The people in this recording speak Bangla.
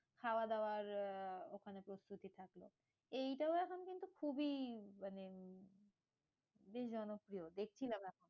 খাওয়াদাওয়ার আহ ওখানে প্রস্তুতি থাকলো, এইটাও এখন কিন্তু খুবই মানে বেশ জনপ্রিয় দেখছিলাম।